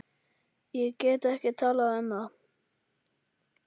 Ég get ekki talað um það.